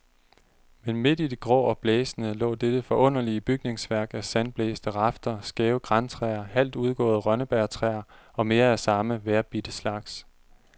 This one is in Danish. Men midt i det grå og blæsende lå dette forunderlige bygningsværk af sandblæste rafter, skæve grantræer, halvt udgåede rønnebærtræer og mere af samme, vejrbidte slags.